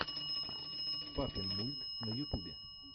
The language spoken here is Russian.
папинмульт на ютубе